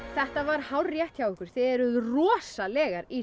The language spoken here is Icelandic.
þetta var hárrétt hjá ykkur þið eruð rosalegar í